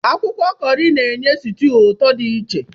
Akwụkwọ kọọrị na-enye sutuu ụtọ dị iche.